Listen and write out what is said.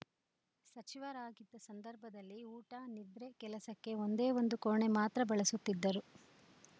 ಸಚಿವರಾಗಿದ್ದ ಸಂದರ್ಭದಲ್ಲಿ ಊಟ ನಿದ್ರೆ ಕೆಲಸಕ್ಕೆ ಒಂದೇ ಒಂದು ಕೋಣೆ ಮಾತ್ರ ಬಳಸುತ್ತಿದ್ದರು